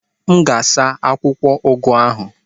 M ga-asa akwụkwọ ugu ahụ.